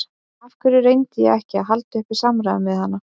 Af hverju reyndi ég ekki að halda uppi samræðum við hana?